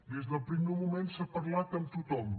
des del primer moment s’ha parlat amb tothom